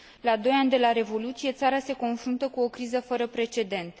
La doi ani de la Revoluție, țara se confruntă cu o criză fără precedent.